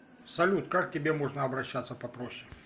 салют как к тебе можно обращаться попроще